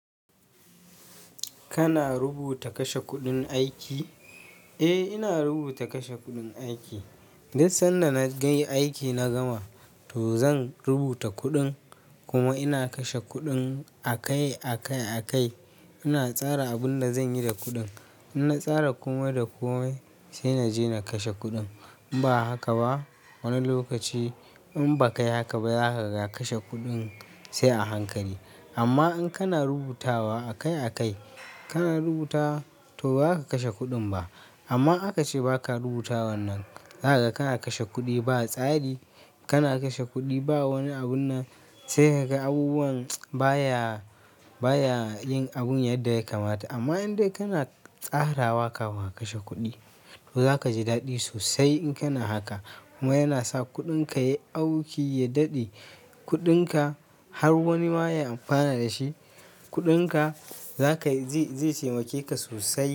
Kana rubuta kashe kuɗin aiki? Eh, ina rubuta kashe kuɗin aiki. Duk sanda na yi aiki na gama, to zan rubuta kuɗin. Kuma ina kashe kuɗin akai-akai. Ina tsara abin da zan yi da kuɗin. In na tsara komai da komai sai na je na kashe kuɗin. In ba haka ba wani lokaci in ba ka yi haka ba za ka ga kashe kuɗin sai a hankali. Amma in kana rubutawa akai-akai, kana rubuta to ba ka kashe kuɗin ba. Amma aka ce ba ka rubutawan nan, zaka ga kana kashe kuɗi ba tsari. Kana kashe kuɗi ba wani abun na sai ka ga abubuwan baya, baya yin abun yadda ya kamata. Amma in dai kana tsarawa kafin ka kashe kuɗi, to za ka ji daɗi sosai in kana haka. Kuma yana sa kuɗinka ya yi auki, ya daɗe kuɗinka har wani ma ya amfana da shi. Kuɗinka zai taimakeka sosai.